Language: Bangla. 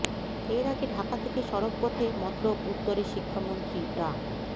এর আগে ঢাকা থেকে সড়ক পথে মতলব উত্তরে শিক্ষামন্ত্রী ডা